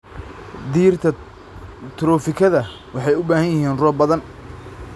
Dhirta trofikada waxay u baahan yihiin roob badan.